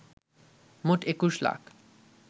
মোট ২১ লাখ